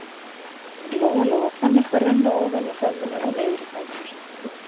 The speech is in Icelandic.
Lóa-Lóa fann eitthvað renna ofan úr höfðinu og niður í fætur.